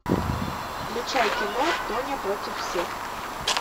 включай кино тоня против всех